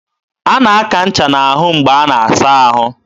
a na-aka ncha n'ahụ mgbe a na-asa ahụ.